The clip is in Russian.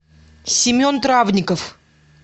семен травников